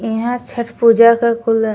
इहा छठ पूजा क कुल --